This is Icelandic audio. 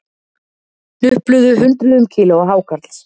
Hnupluðu hundruðum kílóa hákarls